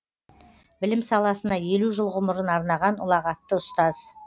білім саласына елу жыл ғұмырын арнаған ұлағатты ұстаз